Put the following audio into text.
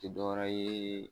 ti dɔwɛrɛ ye